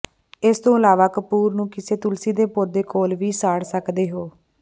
ਇਸ ਤੋਂ ਇਲਾਵਾ ਕਪੂਰ ਨੂੰ ਕਿਸੇ ਤੁਲਸੀ ਦੇ ਪੌਦੇ ਕੋਲ ਵੀ ਸਾੜ ਸਕਦੇ ਹੋ